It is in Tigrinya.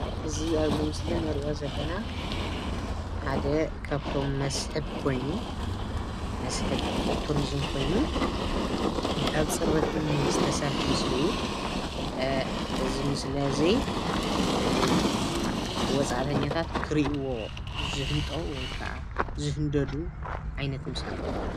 እዚ ኣብዚ ምስሊ ንሪኦ ዘለና ሓደ ካብቶም መስሕብ ኮይኑ መስሕብ ቱሪዝም ኮይኑ ካብ ፅርበት እምኒ ዝተሰርሐ ምስሊ እዩ፡፡ አ እዚ ምስሊ እዚ አ ወፃእተኛታት ክሪእዎ ዝህንጠው ወይ ከዓ ዝህንደዱ ዓይነት ምስሊ እዩ፡፡